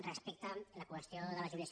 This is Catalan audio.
respecte a la qüestió de la jubilació